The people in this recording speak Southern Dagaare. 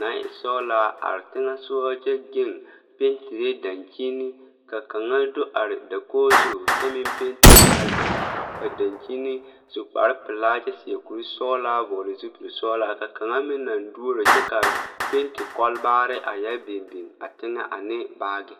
naŋ e sɔglaa are teŋɛsugɔ kyɛ geŋ pentire daŋkyini ka kaŋa do are dokoge zu kyɛ meŋ pentire a dako kaa daŋkyini su kparepelaa kyɛ seɛ kurisɔglaa vɔɔle zupilsɔglaa ka kaŋa meŋ naŋ duoro kyɛ kaa penti kɔlbaarre a yɛ biŋ biŋ a teŋɛ ane baagi.